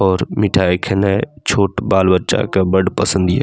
और मिठाई खेने छोट बाल-बच्चा के बड़ पसंद हीय।